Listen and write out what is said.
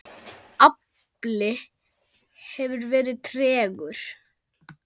Afli hefur verið tregur.